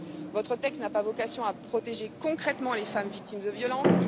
Votre texte n'a pas vocation à protéger concrètement les femmes victimes de violences.